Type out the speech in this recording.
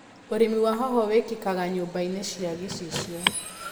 ũrĩmi wa hoho wĩkĩkaga nyumbainĩ cia gĩcicio.